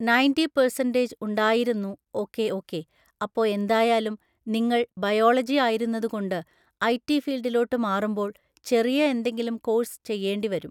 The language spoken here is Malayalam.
നയൻറ്റി പേഴ്‌സൺൻ്റെജ് ഉണ്ടായിരുന്നു ഓക്കേ ഓക്കേ അപ്പൊ എന്തായാലും നിങ്ങൾ ബയോളജി ആയിരുന്നത് കൊണ്ട് ഐടി ഫീൾഡിലോട്ട് മാറുമ്പോൾ ചെറിയ എന്തെങ്കിലും കോഴ്സ് ചെയ്യേണ്ടി വരും